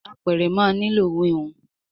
Àpẹrẹ má ní ló wiwun